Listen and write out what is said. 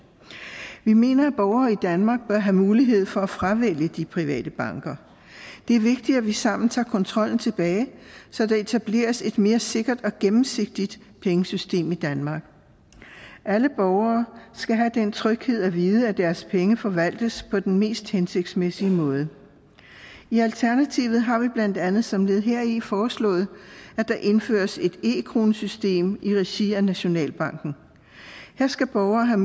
vi mener at borgere i danmark bør have mulighed for at fravælge de private banker det er vigtigt at vi sammen tager kontrollen tilbage så der etableres et mere sikkert og gennemsigtigt pengesystem i danmark alle borgere skal have den tryghed at vide at deres penge forvaltes på den mest hensigtsmæssige måde i alternativet har vi blandt andet som led heri foreslået at der indføres et e kronesystem i regi af nationalbanken her skal borgere have